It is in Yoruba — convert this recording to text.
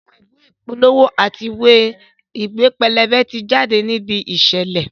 Àwọn ìwé ìpolówó àti ìwé pẹlẹbẹ ti jáde ní ibi ìṣẹ̀lẹ̀